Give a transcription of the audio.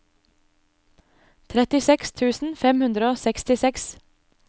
trettiseks tusen fem hundre og sekstiseks